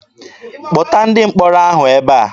Kpọta ndị mkpọrọ ahụ ebe a!